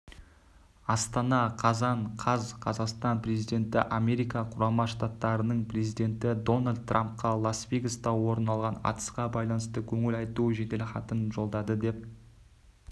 астана қазан қаз қазақстан президенті америка құрама штаттарының президенті дональд трампқа лас-вегаста орын алған атысқа байланысты көңіл айту жеделхатын жолдады деп